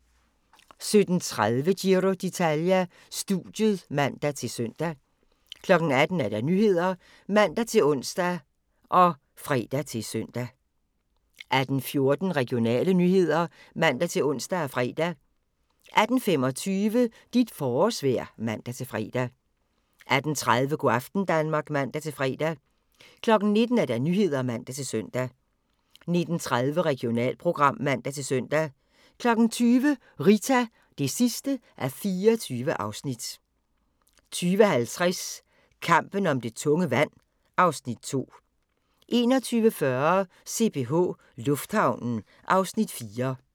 17:30: Giro d'Italia: Studiet (man-søn) 18:00: Nyhederne (man-ons og fre-søn) 18:14: Regionale nyheder (man-ons og fre) 18:25: Dit forårsvejr (man-fre) 18:30: Go' aften Danmark (man-fre) 19:00: Nyhederne (man-søn) 19:30: Regionalprogram (man-søn) 20:00: Rita (24:24) 20:50: Kampen om det tunge vand (Afs. 2) 21:40: CPH Lufthavnen (Afs. 4)